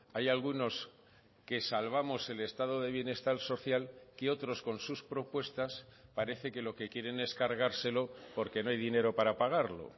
hay algunos que salvamos el estado de bienestar social que otros con sus propuestas parece que lo que quieren es cargárselo porque no hay dinero para pagarlo